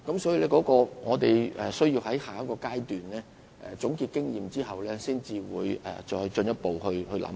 所以，我們須在下一階段總結經驗後，才會再作進一步考慮。